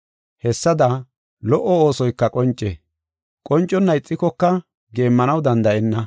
Hessada, lo77o oosoyka qonce; qonconna ixikoka geemmanaw danda7enna.